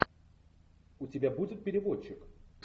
у тебя будет переводчик